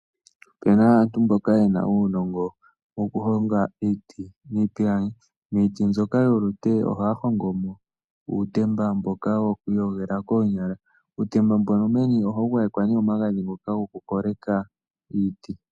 Opena aantu mboka yena uunogo woku honga iiti niipilangi. Iiti mbyoka yolute ohaya hongo mo uutemba mboka woku iyogela koonyala. Uutemba mbono meni ohawu gwayekwa nee omagadhi ngono goku koleka iiti.